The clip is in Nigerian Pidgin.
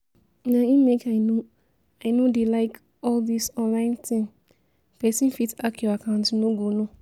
Na im make I no I no dey like all this online thing, person fit hack your account you no go know